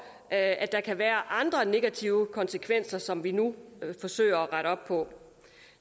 at der kan være andre negative konsekvenser som vi nu forsøger at rette op på